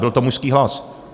Byl to mužský hlas.